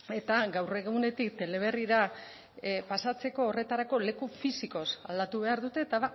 eta gaur egunetik teleberrira pasatzeko horretarako leku fisikoz aldatu behar dute eta